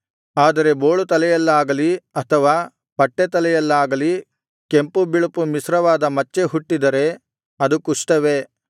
ಆದರೆ ಬೋಳುತಲೆಯಲ್ಲಾಗಲಿ ಅಥವಾ ಪಟ್ಟೆತಲೆಯಲ್ಲಾಗಲಿ ಕೆಂಪು ಬಿಳುಪು ಮಿಶ್ರವಾದ ಮಚ್ಚೆ ಹುಟ್ಟಿದರೆ ಅದು ಕುಷ್ಠವೇ